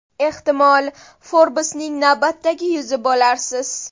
Ehtimol Forbes’ning navbatdagi yuzi bo‘larsiz.